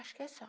Acho que é só.